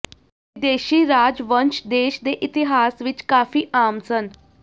ਵਿਦੇਸ਼ੀ ਰਾਜਵੰਸ਼ ਦੇਸ਼ ਦੇ ਇਤਿਹਾਸ ਵਿਚ ਕਾਫ਼ੀ ਆਮ ਸਨ